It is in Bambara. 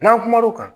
N'an kumana o kan